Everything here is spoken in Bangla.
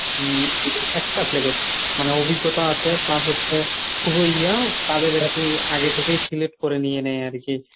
উম expert level মানে অভিজ্ঞতা আছে plus হচ্ছে খুবই ইয়া তাদের আরকি আগের থেকেই select করে নিয়ে নেয় আরকি।